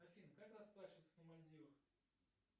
афина как расплачиваться на мальдивах